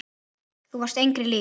Þú varst engri lík.